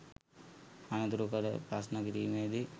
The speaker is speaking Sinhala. අනතුරුව කළ ප්‍රශ්න කිරීමේදී